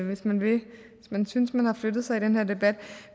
hvis man vil hvis man synes at man har flyttet sig i den her debat